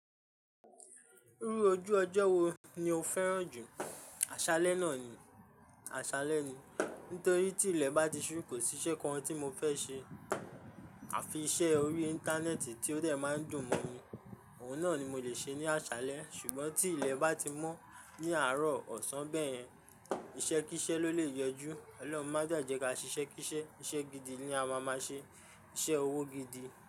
Ríru ojú ọjọ́ wo ni o fẹ́ràn jù? Aṣálẹ́ náà ni, aṣálẹ́ ni. Nítorí tí ilẹ̀ bá ti ṣú, kò sí iṣẹ́ kan tí mo fẹ́ ṣe. Àfi iṣẹ́ orí Íńtánẹ́ẹ̀tì tí ó dẹ̀ máa ń dùn mọ́ mi. Òun náà ni mo lè ṣe ní àṣálẹ́. Ṣùgbọ́n tí ilẹ̀ bá ti mọ́ ní àárọ̀, ọ̀sán, bẹ́ẹ̀ yẹn, iṣẹ́ kí isẹ́ ló lè yẹ ju. Ọlọ́run má dá ẹ jẹ́ ká ṣe iṣẹ́ kí isẹ́. Iṣẹ́ gidi ni a máa máa ṣe. Iṣẹ́ owó gidi.